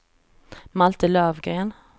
Malte Lövgren